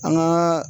An ka